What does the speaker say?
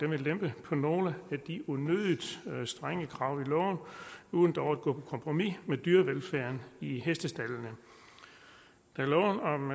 vil lempe på nogle af de unødig strenge krav i loven uden dog at gå på kompromis med dyrevelfærden i hestestaldene da loven om